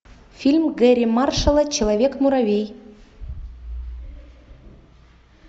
фильм гэрри маршалла человек муравей